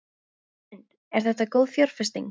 Hrund: Er þetta góð fjárfesting?